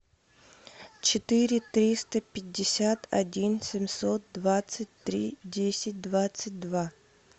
четыре триста пятьдесят один семьсот двадцать три десять двадцать два